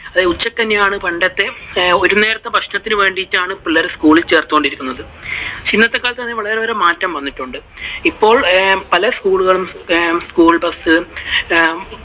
ഉച്ച കഞ്ഞി ആണ് പണ്ടത്തെ, ഒരു നേരത്തെ ഭക്ഷണത്തിനു വേണ്ടിയിട്ടാണ് പിള്ളേരെ school ൽ ചേർത്തുകൊണ്ടിരുന്നത്. പക്ഷെ ഇന്നത്തെ കാലത്തു അതിനു വളരെ അധികം മാറ്റം വന്നിട്ടുണ്ട്. ഇപ്പോൾ പല school കളും, school bus